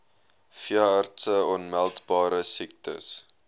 veeartse aanmeldbare siektes